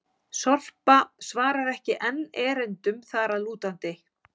Sorpa svarar ekki enn erindum þar að lútandi!